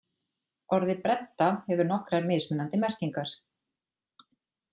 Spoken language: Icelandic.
Orðið bredda hefur nokkrar mismunandi merkingar.